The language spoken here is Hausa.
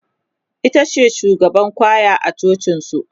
itace shugaban kwaya a cocin su